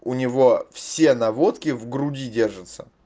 у него все наводки в груди держатся